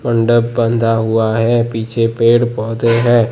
बंधा हुआ है पीछे पेड़-पौधे हैं।